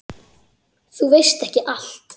Þú veist ekki allt.